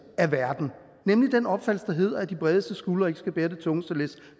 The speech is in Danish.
af verden nemlig den opfattelse der hedder at de bredeste skuldre ikke skal bære det tungeste læs